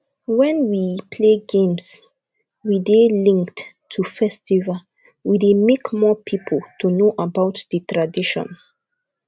when we play games wey dey linked to festival we dey make more pipo to know about di tradition